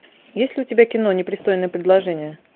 есть ли у тебя кино непристойное предложение